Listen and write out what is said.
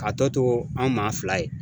Ka tɔ to anw maa fila ye.